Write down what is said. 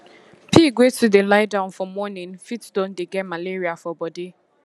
pig wey too dey lie down for morning fit don dey get malaria for body